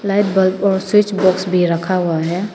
Light bulb switch box भी रखा हुआ है।